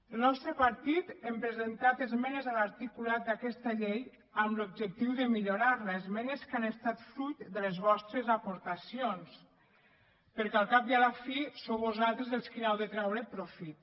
el nostre partit hem presentat esmenes a l’articulat d’aquesta llei amb l’objectiu de millorar la esmenes que han estat fruit de les vostres aportacions perquè al cap i a la fi sou vosaltres qui n’heu de traure profit